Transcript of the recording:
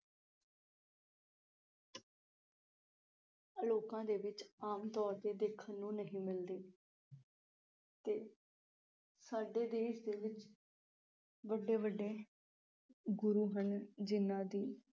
ਲੋਕਾਂ ਦੇ ਵਿਚ ਆਮ ਤੌਰ ਤੇ ਦੇਖਣ ਨੂੰ ਨਹੀਂ ਮਿਲਦੀ ਤੇ ਸਾਡੇ ਦੇਸ਼ ਦੇ ਵਿਚ ਵੱਡੇ ਵੱਡੇ ਗੁਰੂ ਹਨ ਜਿਨ੍ਹਾਂ ਦੀ